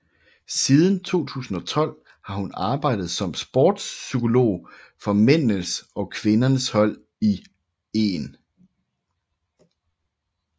Siden 2012 har hun arbejdet som sports psykolog for mændenes og kvindernes hold i 1